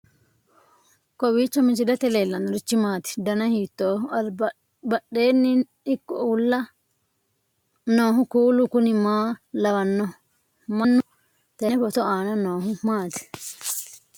kowiicho misilete leellanorichi maati ? dana hiittooho ?abadhhenni ikko uulla noohu kuulu kuni maa lawannoho? mannu tenne photo aana noohu maati